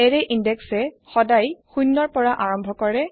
এৰে ইন্দেক্সে সদায় শূন্য পৰা আৰম্ভ কৰে